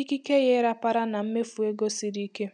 ikike ya ịrapara na mmefu ego siri ike.